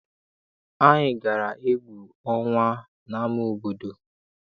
Anyị gara egwu ọnwa n'ama obodo.